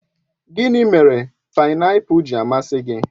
Gịnị mere painapul ji amasị gị?